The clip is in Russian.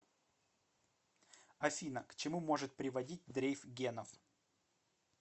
афина к чему может приводить дрейф генов